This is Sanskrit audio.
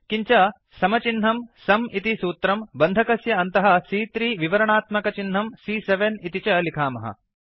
किञ्च समचिह्नं सुं इति सूत्रं बन्धकस्य अन्तः सी॰॰3 विवरणात्मकचिह्नं सी॰॰7 इति च लिखामः